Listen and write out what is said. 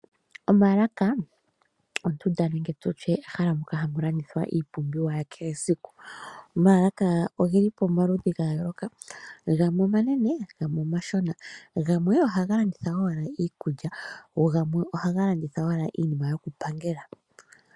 Omaalaka ondunda nenge tu tye ehala moka hamu landithwa iipumbiwa yakehe esiku. Omaalaka oge li pamaludhi ga yooloka. Gamwe omanene gamwe omashona. Gamwe ohaga landitha owala iikulya go gamwe ohaga landitha owala iinima yokupangela.